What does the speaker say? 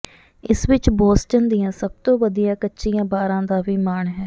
ਇਸ ਵਿਚ ਬੋਸਟਨ ਦੀਆਂ ਸਭ ਤੋਂ ਵਧੀਆ ਕੱਚੀਆਂ ਬਾਰਾਂ ਦਾ ਵੀ ਮਾਣ ਹੈ